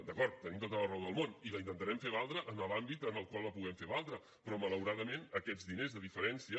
d’acord tenim tota la raó del món i la intentarem fer valdre en l’àmbit en el qual la puguem fer valdre però malauradament aquests diners de diferència